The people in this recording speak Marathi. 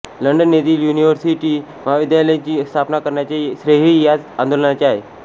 लंडन येथील युनिव्हर्सिटी महाविद्यालय ची स्थापना करण्याचे श्रेयही ह्याच आंदोलनाचे आहे